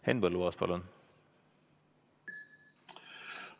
Henn Põlluaas, palun!